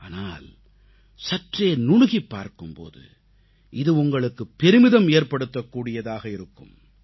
ஆனால் சற்றே நுணுகிப் பார்க்கும் போது இது உங்களுக்குப் பெருமிதம் ஏற்படுத்தக் கூடியதாக இருக்கிறது